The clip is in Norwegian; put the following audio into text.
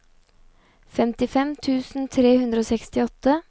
femtifem tusen tre hundre og sekstiåtte